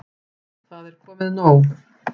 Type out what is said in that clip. Það er komið nóg.